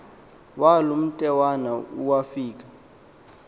walo mntwena owafika